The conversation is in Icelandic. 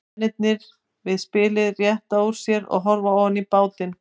Mennirnir við spilið rétta úr sér og horfa ofan í bátinn.